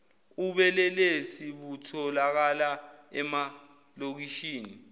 ubelelesi butholakala emalokishini